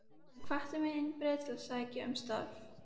Hann hvatti mig eindregið til að sækja um starfið.